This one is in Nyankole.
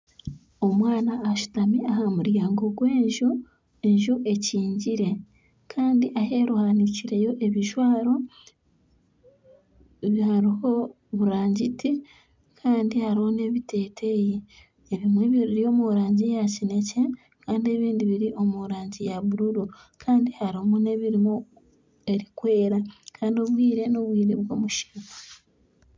Omwana ashutami aha muryango gw'enju, enju ekigire kandi aheeru hahanikireyo ebijwaro hariho buragiti kandi hariho n'ebiteteyi ebimwe biri omu rangi ya kinekye kandi ebindi biri omu rangi ya buruuru kandi harimu n'ebirimu erikwera kandi obwire n'obwire bw'omushana.